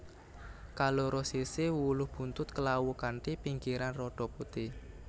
Kaloro sisih wulu buntut klawu kanthi pinggiran rada putih